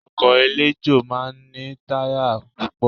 Ọkọ̀ eléjò máa ń ní táyà púpọ̀